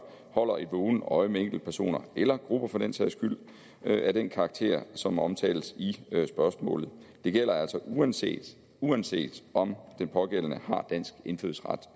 holder et vågent øje med enkeltpersoner eller grupper for den sags skyld af den karakter som omtales i spørgsmålet det gælder altså uanset uanset om den pågældende har dansk indfødsret